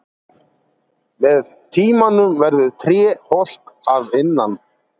Með tímanum verður tréð holt að innan.